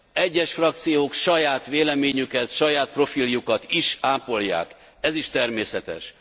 Egyes frakciók saját véleményüket, saját profiljukat is ápolják, ez is természetes.